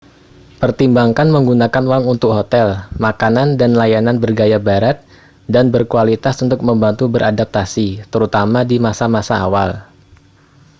pertimbangkan menggunakan uang untuk hotel makanan dan layanan bergaya barat dan berkualitas untuk membantu beradaptasi terutama di masa-masa awal